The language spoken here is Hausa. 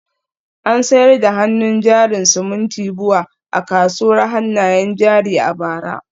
An sayar da hannun jarin simintin BUA a kasuwar hannayen jari a bara